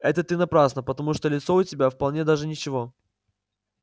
это ты напрасно потому что лицо у тебя вполне даже ничего